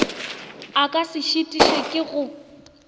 e ka se šitišwe ke